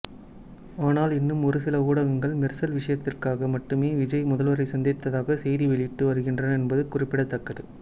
ஆனால் இன்னும் ஒருசில ஊடகங்கள் மெர்சல் விஷயத்திற்காக மட்டுமே விஜய் முதல்வரை சந்தித்ததாக செய்தி வெளியிட்டு வருகின்றன என்பது குறிப்பிடத்தக்கது